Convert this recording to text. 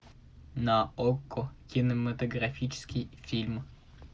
на окко кинематографический фильм